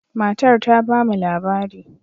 Matar ta ba mu labari.